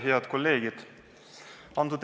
Head kolleegid!